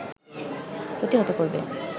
প্রতিহত করবে